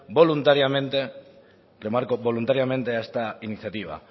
voluntariamente remarco voluntariamente a esta iniciativa